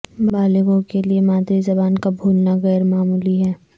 بالغوں کے لیے مادری زبان کا بھولنا غیر معمولی ہے